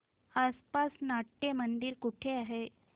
आसपास नाट्यमंदिर कुठे आहे